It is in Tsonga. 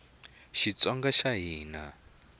xitsonga xa hina